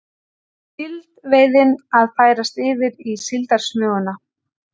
Síldveiðin að færast yfir í síldarsmuguna